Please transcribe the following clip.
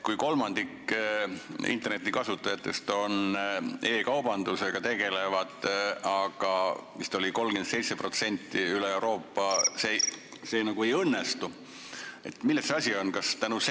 Kui kolmandik internetikasutajatest tegelevad e-kaubandusega, neid oli vist 37% üle Euroopa, aga see nagu ei õnnestu, siis milles asi on?